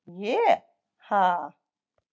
ég- ha?